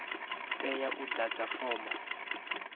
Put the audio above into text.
u tea u ḓadza fomo